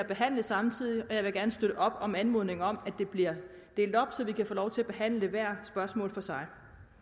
behandles samtidig så jeg vil gerne støtte op om anmodningen om at det bliver delt op så vi kan få lov til at behandle hvert spørgsmål for sig